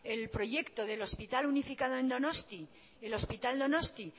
el proyecto del hospital unificado en donosti el hospital donostia